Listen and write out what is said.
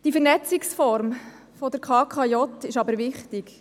Die Vernetzungsform der KKJ ist aber wichtig.